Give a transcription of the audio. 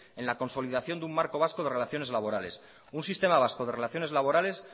en la consolidación de un marco vasco de relaciones laborales un sistema vasco de relaciones laborales